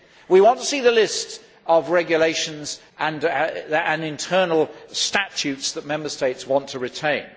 We want to see the list of regulations and internal statutes that Member States want to retain.